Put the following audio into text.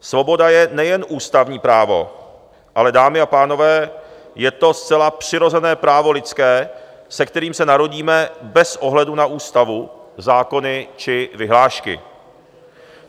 Svoboda je nejen ústavní právo, ale dámy a pánové, je to zcela přirozené právo lidské, se kterým se narodíme bez ohledu na ústavu, zákony či vyhlášky.